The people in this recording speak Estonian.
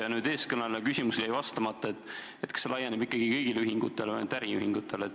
Ja nüüd eelkõneleja küsimus, millele jäi vastamata: kas see laieneb ikkagi kõigile ühingutele või ainult äriühingutele?